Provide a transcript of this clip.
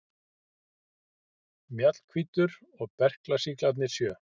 Mjallhvítur og berklasýklarnir sjö.